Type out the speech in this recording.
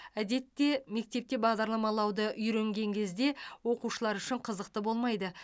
әдетте мектепте бағдарламалауды үйренген кезде оқушылар үшін қызықты болмайды